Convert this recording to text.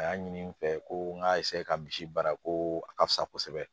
A y'a ɲini n fɛ ko n ka ka misi baara ko a ka fisa kosɛbɛ